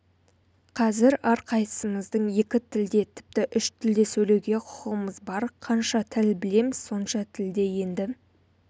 қазір әрқайсымыздың екі тілде тіпті үш тілде сөйлеуге құқығымыз бар қанша тіл білеміз сонша тілде енді